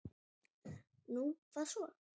Nú, hvað svo?